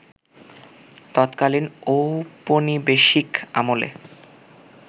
ততকালীন ঔপনিবেশিক আমলে